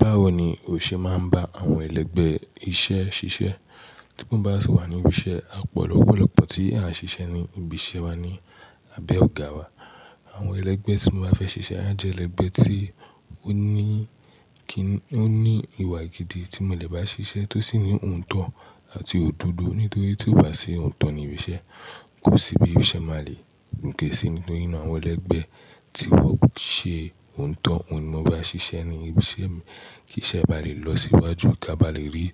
Báwo ni o ṣe máa ń bá àwọn ẹlẹgbẹ́ iṣẹ́ ṣiṣẹ́ tí wọ́n bá sì wà ní ibi iṣẹ́? A pọ̀ lọ́pọ̀lọ́pọ̀ tí à ń ṣiṣẹ́ ní ibi iṣẹ́ wa ní abẹ́ ọ̀ogá wa. Àwọn ẹlẹgbẹ́ tí mo bá fẹ́ ṣiṣẹ́, a jẹ́ ẹlẹgbẹ́ tí ó ní kí, ó ní ìwà gidi tí mọ́lẹ̀ bá ṣiṣẹ́ tó sì ní òǹtọ̀ àti òdodo. Nítorí tí ó bá ṣe òǹtọ̀ ní ibi iṣẹ́, kò sí bí ooṣẹ́ máa le go ke sí. Nítorí náà àwọn ẹlẹgbẹ́ tí wọ́n ṣe òǹtọ̀, òhun ní mo bá ṣiṣẹ́ ní ibi iṣẹ́ mi, kí iṣẹ́ bá lè lọ síwájú kí a bá lè rí